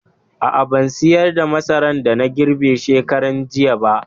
A'a, ban sayar da masaran da na girbe shekaranjiya ba.